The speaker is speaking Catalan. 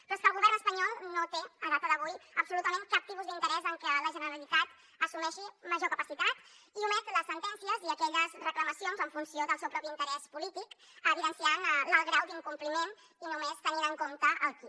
però és que el govern espanyol no té a data d’avui absolutament cap tipus d’interès en que la generalitat assumeixi major capacitat i omet les sentències i aquelles reclamacions en funció del seu propi interès polític evidenciant l’alt grau d’incompliment i només tenint en compte el qui